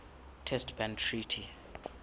test ban treaty